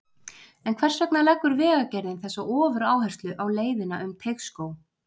En hvers vegna leggur Vegagerðin þessa ofuráherslu á leiðina um Teigsskóg?